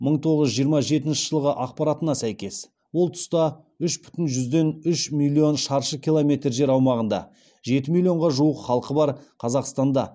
мың тоғыз жүз жиырма жетінші жылғы ақпаратына сәйкес ол тұста үш бүтін жүзден үш миллион шаршы километр жер аумағында жеті миллионға жуық халқы бар қазақстанда